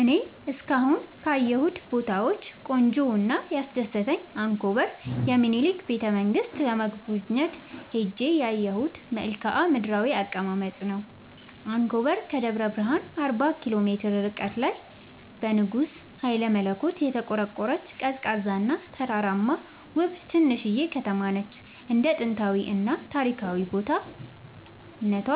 እኔ እስካሁን ካየሁት ቦታወች ቆንጆው እና ያስደሰተኝ አንኮበር የሚኒልክን ቤተ-መንግስት ለመጎብኘት ሄጄ ያየሁት መልከአ ምድራዊ አቀማመጥ ነው። አንኮበር ከደብረ ብረሃን አርባ ኪሎ ሜትር ርቀት ላይ በንጉስ ሀይለመለኮት የተቆረቆረች፤ ቀዝቃዛ እና ተራራማ ውብ ትንሽዬ ከተማነች እንደ ጥንታዊ እና ታሪካዊ ቦታ እነቷ